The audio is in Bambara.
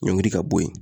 Ɲɔnkili ka bɔ ye